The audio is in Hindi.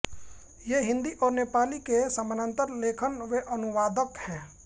ये हिन्दी और नेपाली के समानान्तर लेखक व अनुवादक हैं